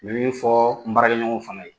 N be min fɔɔ n baarakɛɲɔgɔnw fana ye